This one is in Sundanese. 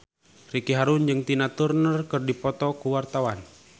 Ricky Harun jeung Tina Turner keur dipoto ku wartawan